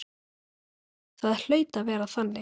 Það hlaut að vera þannig.